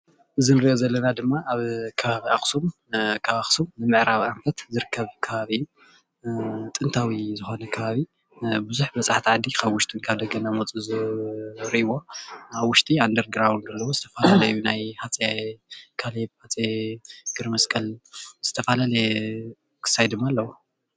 እዚ እንሪኦ ዘለና ድማ ኣብ ከባቢ ኣኽሱም ከባቢ ንምዕራብ ኣንፈት ዝርከብ ኾይኑ ጥንታዊ ዝኾነ ቡዙሓት በፃሕቲ ዓዲ ካብ ደገን ካብ ውሽጥን እናመፁ ዝርእዎ ኣብ ውሽጡ ኣንደር ግራውንዴ መቃብር ዘለዎ